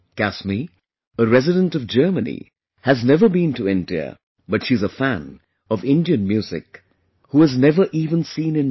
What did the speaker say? Kasmi, a resident of Germany, has never been to India, but she is a fan of Indian music, who has never even seen India